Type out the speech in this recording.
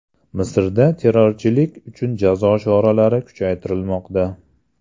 Misrda terrorchilik uchun jazo choralari kuchaytirilmoqda .